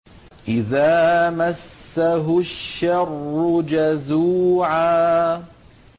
إِذَا مَسَّهُ الشَّرُّ جَزُوعًا